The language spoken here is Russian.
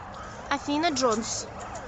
афина джонс